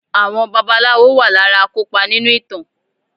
Àwọn babaláwo wà lára akopa nínú ìtàn.